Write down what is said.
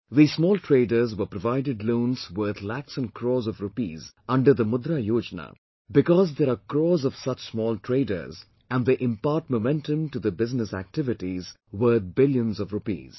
These small traders were provided loans worth lakhs and crores of rupees under Mudra Yojana because there are crores of such small traders and they impart momentum to the business activities worth billions of rupees